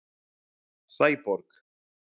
Sæborg